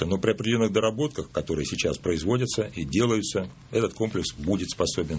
доработка который сейчас производится и делаются этот комплекс будет